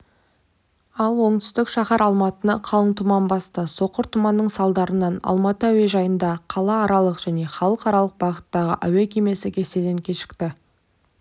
ал оңтүстік шаһар алматыны қалың тұман басты соқыр тұманның салдарынан алматы әуежайында қалааралық және халықаралық бағыттағы әуе кемесі кестеден кешікті